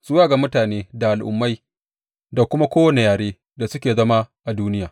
Zuwa ga mutane da al’ummai da kuma kowane yare, da suke zama a duniya.